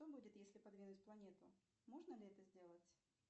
что будет если подвинуть планету можно ли это сделать